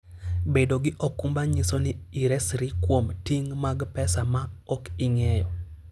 Bedo gi okumba nyiso ni iresri kuom ting' mag pesa ma ok igeno.